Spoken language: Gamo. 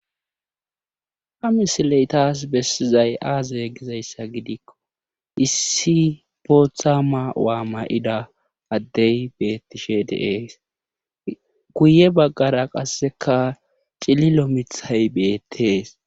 Ha misiley taas bessizay aaze gizayssa gidikko issi bootha ma'waa ma7ida addey bettishe deees guye baggara qasseka cililo mithay beettees